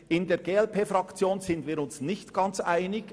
In der glp-Fraktion sind wir uns nicht ganz einig.